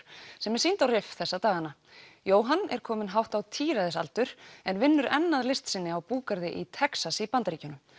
sem er sýnd á þessa dagana Jóhann er kominn hátt á en vinnur enn að list sinni á búgarði í Texas í Bandaríkjunum